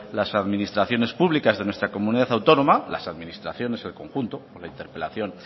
las administraciones públicas de nuestra comunidad autónoma las administraciones en conjunto con la interpelación